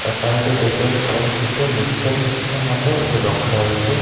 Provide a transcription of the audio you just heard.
ତା ସାଇଡ଼ ରେ ଦେଖିବାକୁ ପଉଛୁ ଯେ ମଧ୍ୟ ଗୋଟେ ରଖାହେଇଛି।